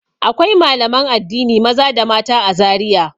Akwai malaman addini maza da mata a Zariya.